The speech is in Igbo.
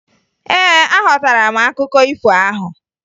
Ee, aghọtara m akụkọ ifo ahụ